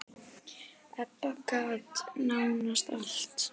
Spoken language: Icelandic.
Ebba gat nánast allt.